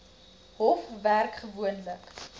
hof werk gewoonlik